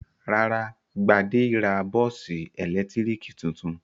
Rárá, Gbade ra bọ́ọ́sì ẹ̀lẹ́tíríkì tuntun.